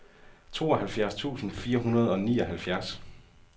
tooghalvfjerds tusind fire hundrede og nioghalvfjerds